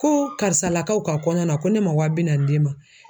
Ko karisalakaw ka kɔɲɔ na ko ne man wa bi naani di e ma?